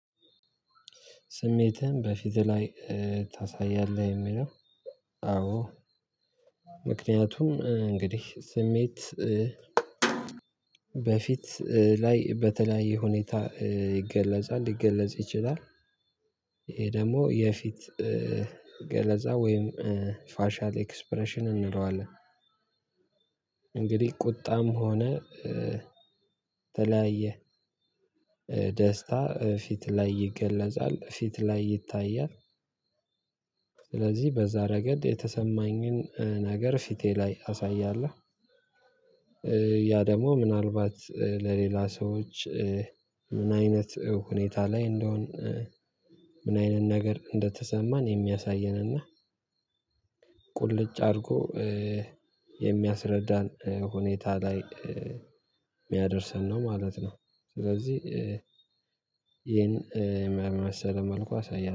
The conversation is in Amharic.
ስሜትህን በፊትህ ላይ ታሳያለህ? የሚለው አዎ ምክንያቱም እንግዲህ ስሜት በፊት ላይ በተለያየ ሁኔታ ይገለጻል፣ ሊገለጽ ይችላል። ይሄ ደግሞ የፊት ገለጻ ወይም ፋሻል ኤክስፕሬሽን እንለዋለን እንግዲህ ቁጣም ሆነ የተለያየ ደስታ ፊት ላይ ይገለጻል፣ ፊት ላይ ይታያል። ስለዚህ በዛ ረገድ የተሰማኝን ነገር ፊቴ ላይ አሳያለሁ ያ ደግሞ ምናልባት ለሌላ ሰዎች ምን አይነት ሁኔታ ላይ እንደሆን እንዲህ አይነት ነገር እንደተሰማን የሚያሳየን እና ቁሉጭ አድርጎ የሚያስረደን ሁኔታ ላይ ሊያደርሰን ነው ማለት ነው። ስለዚ ይሄን በመሰለ መልኩ ያሳየናል